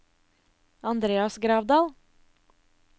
Andreas Gravdal